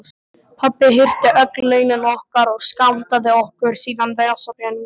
Pabbi hirti öll launin okkar og skammtaði okkur síðan vasapeninga.